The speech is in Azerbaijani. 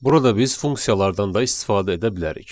Burada biz funksiyalardan da istifadə edə bilərik.